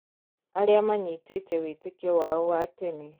Arĩa maanyitĩte wĩtĩkio wao wa tene